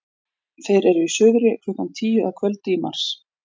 þeir eru í suðri klukkan tíu að kvöldi í mars